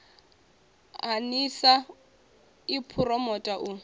ha nlsa i phuromotha u